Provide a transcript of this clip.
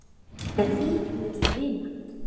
Er vík milli vina?